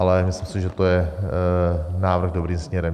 Ale myslím si, že to je návrh dobrým směrem.